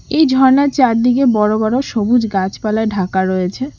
এই ঝর্নার চারদিকে বড়ো বড়ো সবুজ গাছপালায় ঢাকা রয়েছে।